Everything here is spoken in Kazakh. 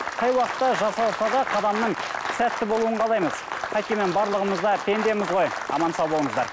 қай уақытта жасалса да қадамның сәтті болуын қалаймыз қайткенмен барлығымыз да пендеміз ғой аман сау болыңыздар